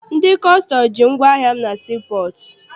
Ndị kọstọm ji ngwaahịa m na sii pọọtụ.